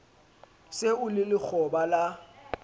se o le lekgoba la